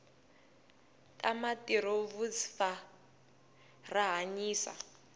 tamatirovuzfa rahhanyisa